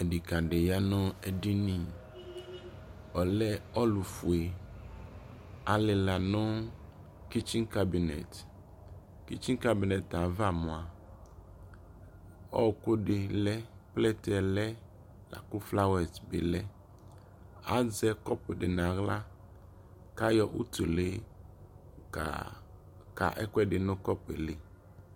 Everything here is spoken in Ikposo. Ɛdikadi ya nʋ edini Ɔlɛ ɔlʋfue Alila nʋ kitsi kabinɛt Kitsin kabinɛt ayi ava mua ɔɔkʋ dι lɛ, plɛte yɛ lɛ la kʋ flawɛs bι lɛ Azɛ kɔpu di nʋ aɣla kʋ ayɔ utʋlι kaa ka ɛkʋɛdι nʋ kɔpu yɛ eli